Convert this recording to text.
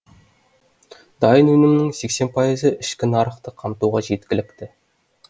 дайын өнімнің сексен пайызы ішкі нарықты қамтуға жеткілікті